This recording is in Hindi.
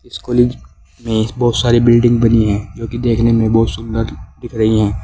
इस कॉलेज में बहुत सारी बिल्डिंग बनी हैं जो कि देखने में बहुत सुंदर दिख रही हैं।